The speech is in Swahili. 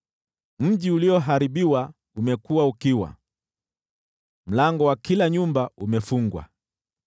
Mji ulioharibiwa umekuwa ukiwa, mlango wa kila nyumba umefungwa.